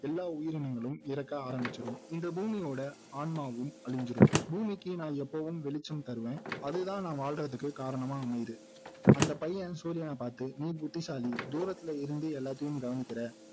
எல்லா உயிரினங்களும் இறக்க ஆரம்பிச்சுரும் இந்த பூமியோட ஆன்மாவும் அழிஞ்சிரும் பூமிக்கு நான் எப்போவும் வெளிச்சம் தருவேன் அதுதான் நான் வாழ்றதுக்கு காரணமாய் அமையுது அந்த பையன் சூரியனை பாத்து நீ புத்திசாலி தூரத்துல இருந்து எல்லாத்தையும் கவனிக்கிற